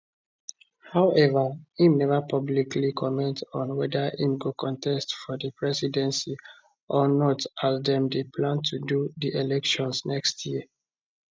however im neva publicly comment on weda im go contest for di presidency or not as dem dey plan to do di elections next year